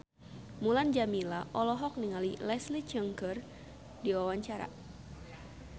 Mulan Jameela olohok ningali Leslie Cheung keur diwawancara